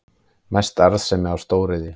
Mest arðsemi af stóriðju